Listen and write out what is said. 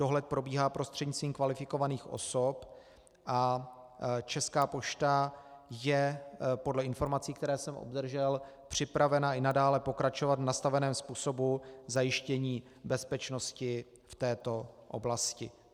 Dohled probíhá prostřednictvím kvalifikovaných osob a Česká pošta je podle informací, které jsem obdržel, připravena i nadále pokračovat v nastaveném způsobu zajištění bezpečnosti v této oblasti.